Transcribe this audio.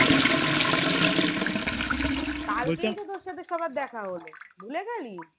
কালকেই তো তোর সাথে সবার দেখা হলো ভুলে গেলি?